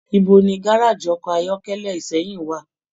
Ibo ni gárájí ọkọ ayọkẹlẹ Ìsẹ́yìn wa?